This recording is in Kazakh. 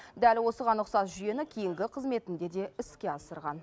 дәл осыған ұқсас жүйені кейінгі қызметінде де іске асырған